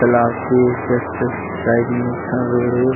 तालाब के just side में एक ठ रोड हे ।